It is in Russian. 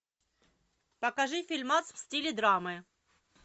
покажи фильмас в стиле драмы